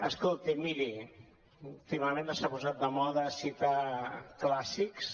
escolti miri últimament s’ha posat de moda citar clàssics